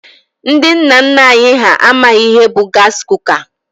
Ndị nna nna anyị ha amaghị ihe bụ gaasị kuka.